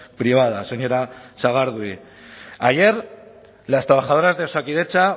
privada señora sagardui ayer las trabajadoras de osakidetza